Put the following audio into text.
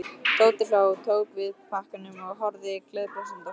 Tóti hló, tók við pakkanum og horfði gleiðbrosandi á stelpuna.